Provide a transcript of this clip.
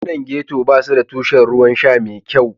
Yankunan Getto ba su da tushen ruwan sha mai kyau.